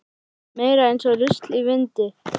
Meira eins og rusl í vindi.